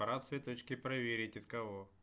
пора цветочки проверить от кого